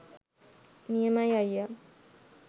නියමයි අයියා.